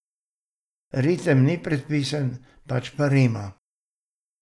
Ritem ni predpisan, pač pa rima.